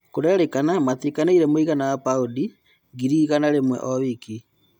Kũrerĩkana metĩkanĩrĩirie mũigana wa mbaũni ngirĩ igana rĩmwe o-wiki.